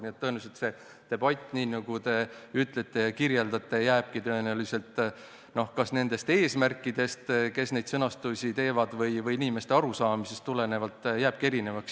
Nii et tõenäoliselt see debatt, nii nagu te ütlete ja kirjeldate, jääbki kas nende eesmärkidest, kes neid sõnastusi teevad, või inimeste arusaamisest tulenevalt erinevaks.